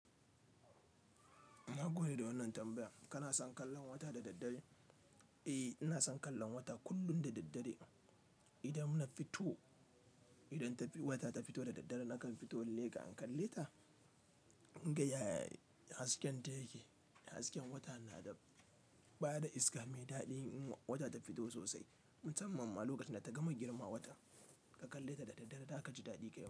Na gode da wannan tambaya. Kana son kallon wata da daddare? Eh, ina son kallon wata kullum da daddare. Idan na fito, idan wata ta fito da daddare nakan fito in leƙa in kalle ta in ga yaya hasken ta yake. Hasken wata na da, ba da iska mai daɗi in wata ta fito sosai. Musamman ma lokacin da ta gama girma wata, ka kalle ta da daddare ta ka ji daɗi kai tsaye.